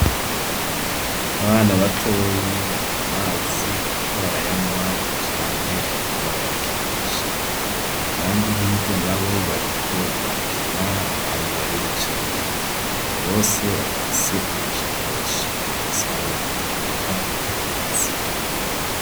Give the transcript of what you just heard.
Abana batoyi bari ku mazi bariko barayanwa canke bariko barayakinisha, abandi hirya nabo bariko barakina abandi bariyicariye, bose bafise amashakoshi amasaha yo gutaha arageze.